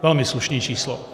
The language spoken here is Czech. Velmi slušné číslo.